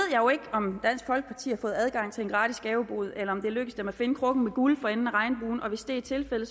om dansk folkeparti har fået adgang til en gratis gavebod eller om det er lykkedes dem at finde krukken med guld for enden af regnbuen hvis det er tilfældet